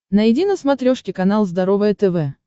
найди на смотрешке канал здоровое тв